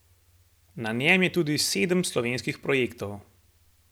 Na njem je tudi sedem slovenskih projektov.